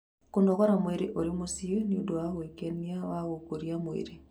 Kũnogora mwĩrĩ ũrĩ mũciĩ nĩ ũndũ wa gwĩkenia wa gũkũria mwĩrĩ.